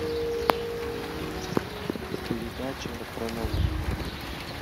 передача про науку